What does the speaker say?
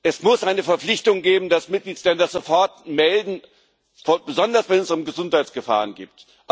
Es muss eine Verpflichtung geben, dass Mitgliedsländer sofort etwas melden, besonders, wenn es um Gesundheitsgefahren geht.